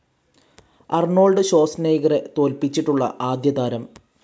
Arnold ഷ്വാസ്നൈഗറെ തോൽപ്പിച്ചിട്ടുള്ള ആദ്യതാരം